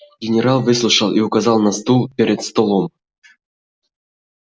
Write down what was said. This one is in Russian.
генерал выслушал и указал на стул перед столом